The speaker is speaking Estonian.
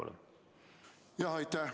Aitäh!